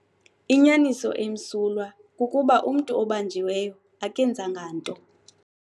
Inyaniso emsulwa kukuba umntu obanjiweyo akenzanga nto.